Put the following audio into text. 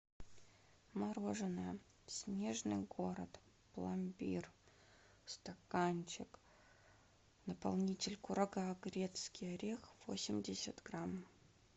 мороженое снежный город пломбир стаканчик наполнитель курага грецкий орех восемьдесят грамм